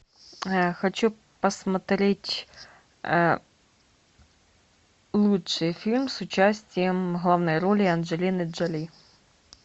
хочу посмотреть лучший фильм с участием в главной роли анджелины джоли